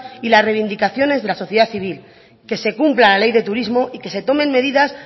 y las reivindicaciones de la sociedad civil que se cumpla la ley de turismo y que se tomen medidas